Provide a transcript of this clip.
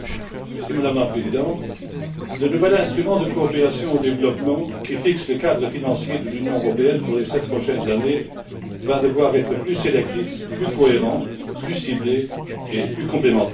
Madame la Présidente, le nouvel instrument de coopération au développement, qui fixe le cadre financier de l'Union européenne pour les sept prochaines années, va devoir être plus sélectif, plus cohérent, plus ciblé et plus complémentaire.